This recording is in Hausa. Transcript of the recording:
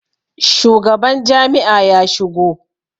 shugaban Jami'a ya shigo?